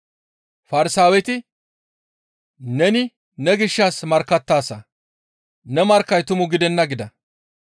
Farsaaweti, «Neni ne gishshas markkattaasa; Ne markkay tumu gidenna» gida.